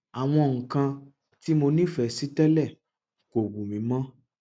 àwọn nǹkan tí mo nífẹẹ sí tẹlẹ kò wù mí mọ